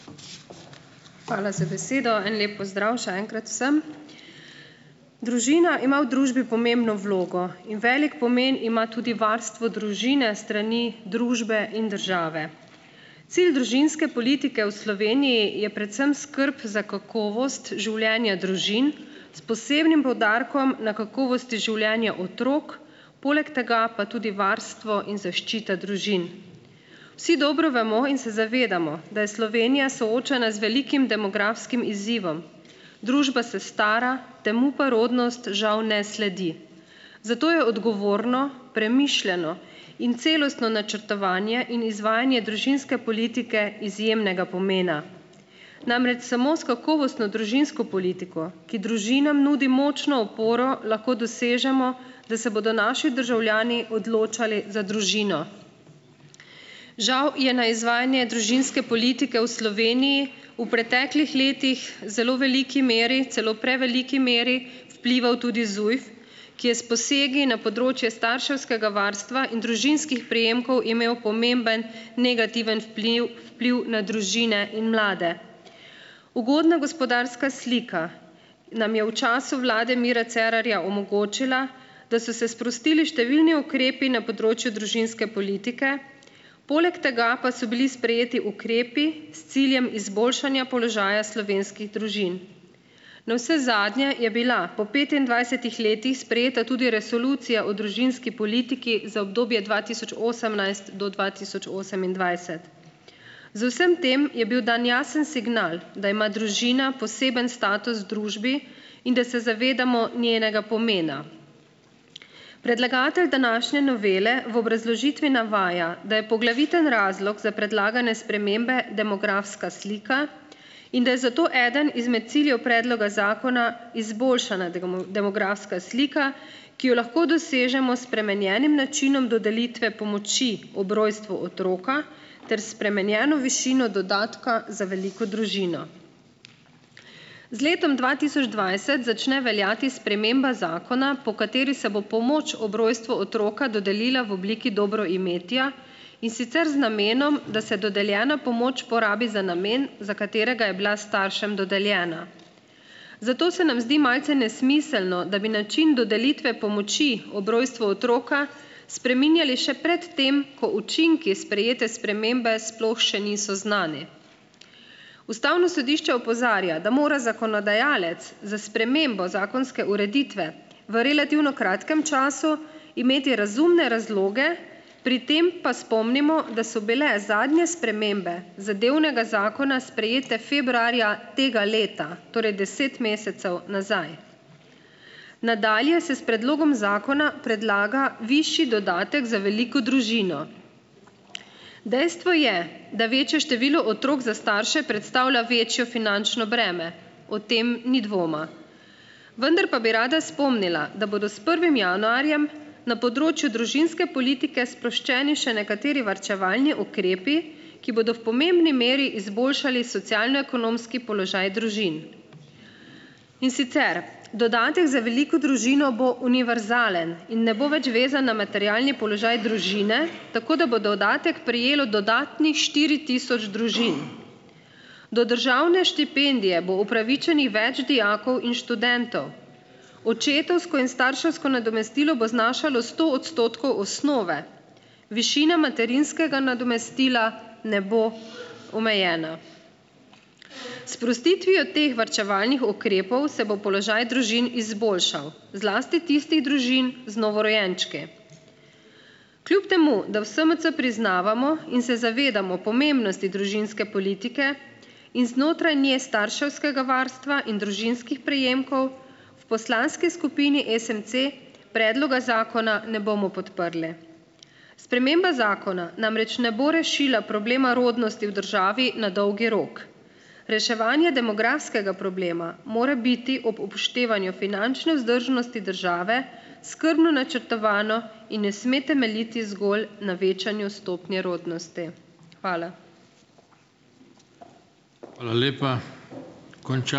Hvala za besedo. En lep pozdrav še enkrat vsem! Družina ima v družbi pomembno vlogo in velik pomen ima tudi varstvo družine s strani družbe in države. Cilj družinske politike v Sloveniji je predvsem skrb za kakovost življenja družin s posebnim poudarkom na kakovosti življenja otrok, poleg tega pa tudi varstvo in zaščite družin. Vsi dobro vemo in se zavedamo, da je Slovenija soočena z velikim demografskim izzivom, družba se stara, temu pa rodnost žal ne sledi. Zato je odgovorno premišljeno in celostno načrtovanje in izvajanje družinske politike izjemnega pomena. Namreč samo s kakovostno družinsko politiko, ki družinam nudi močno oporo, lahko dosežemo, da se bodo naši državljani odločali za družino. Žal je na izvajanje družinske politike v Sloveniji v preteklih letih zelo veliki meri, celo preveliki meri vplival tudi ZUJF, ki je s posegi na področje starševskega varstva in družinskih prejemkov imel pomemben negativen vpliv vpliv na družine in mlade. Ugodna gospodarska slika nam je v času vlade Mira Cerarja omogočila, da so se sprostili številni ukrepi na področju družinske politike, poleg tega pa so bili sprejeti ukrepi s ciljem izboljšanja položaja slovenskih družin. Navsezadnje je bila po petindvajsetih letih sprejeta tudi Resolucija o družinski politiki za obdobje dva tisoč osemnajst do dva tisoč osemindvajset. Z vsem tem je bil dan jasen signal, da ima družina poseben status v družbi in da se zavedamo njenega pomena. Predlagatelj današnje novele v obrazložitvi navaja, da je poglaviten razlog za predlagane spremembe demografska slika in da je zato eden izmed ciljev predloga zakona izboljšana demografska slika, ki jo lahko dosežemo s spremenjenim načinom dodelitve pomoči ob rojstvu otroka ter s spremenjeno višino dodatka za veliko družino. Z letom dva tisoč dvajset začne veljati sprememba zakona, po kateri se bo pomoč ob rojstvu otroka dodelila v obliki dobroimetja, in sicer z namenom, da se dodeljena pomoč porabi za namen, za katerega je bila staršem dodeljena. Zato se nam zdi malce nesmiselno, da bi način dodelitve pomoči ob rojstvu otroka spreminjali še pred tem, ko učinki sprejete spremembe sploh še niso znani. Ustavno sodišče opozarja, da mora zakonodajalec za spremembo zakonske ureditve v relativno kratkem času imeti razumne razloge, pri tem pa spomnimo, da so bile zadnje spremembe zadevnega zakona sprejete februarja tega leta, torej deset mesecev nazaj. Nadalje se s predlogom zakona predlaga višji dodatek za veliko družino. Dejstvo je, da večje število otrok za starše predstavlja večjo finančno breme, o tem ni dvoma. Vendar pa bi rada spomnila, da bodo s prvim januarjem na področju družinske politike sproščeni še nekateri varčevalni ukrepi, ki bodo v pomembni meri izboljšali socialno-ekonomski položaj družin. In sicer, dodatek za veliko družino bo univerzalen in ne bo več vezan na materialni položaj družine, tako da bo dodatek prejelo dodatnih štiri tisoč družin. Do državne štipendije bo upravičenih več dijakov in študentov. Očetovsko in starševsko nadomestilo bo znašalo sto odstotkov osnove, višina materinskega nadomestila ne bo omejena. S sprostitvijo teh varčevalnih ukrepov se bo položaj družin izboljšal, zlasti tistih družin z novorojenčki. Kljub temu da v SMC priznavamo in se zavedamo pomembnosti družinske politike in znotraj nje starševskega varstva in družinskih prejemkov, v poslanski skupini SMC predloga zakona ne bomo podprli. Sprememba zakona namreč ne bo rešila problema rodnosti v državi na dolgi rok. Reševanje demografskega problema more biti ob upoštevanju finančne vzdržnosti države skrbno načrtovano in ne sme temeljiti zgolj na večanju stopnje rodnostið. Hvala.